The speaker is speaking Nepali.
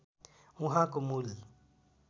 उहाँको मूल